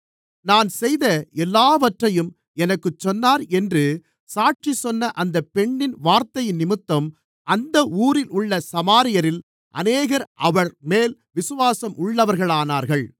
நான் செய்த எல்லாவற்றையும் எனக்குச் சொன்னார் என்று சாட்சி சொன்ன அந்த பெண்ணின் வார்த்தையினிமித்தம் அந்த ஊரிலுள்ள சமாரியரில் அநேகர் அவர்மேல் விசுவாசம் உள்ளவர்களானார்கள்